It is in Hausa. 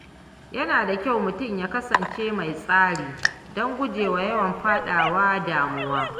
Yana da kyau mutum ya kasance mai tsari don gujewa yawan faɗawa damuwa.